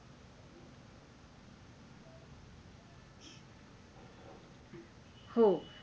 हो